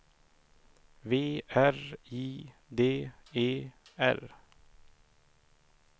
V R I D E R